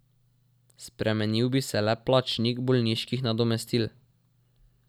Spremenil bi se le plačnik bolniških nadomestil.